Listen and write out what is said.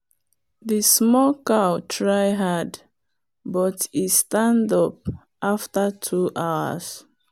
the small cow try hard but e stand up after two hours.